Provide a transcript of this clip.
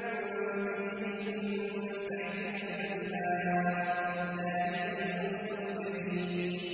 تَجْرِي مِن تَحْتِهَا الْأَنْهَارُ ۚ ذَٰلِكَ الْفَوْزُ الْكَبِيرُ